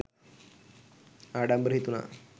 ආඩම්බර හිතුණා.